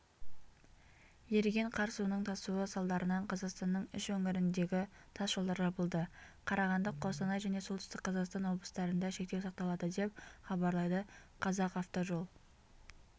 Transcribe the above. еріген қар суының тасуы салдарынанқазақстанның үш өңіріндегі тас жолдар жабылды қарағанды қостанай және солтүстік қазақстан облыстарында шектеу сақталады деп хабарлайды қазақавтожол